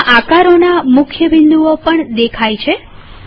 અને બધા આકારોના બધા મુખ્ય બિંદુઓ પણ દેખાય છે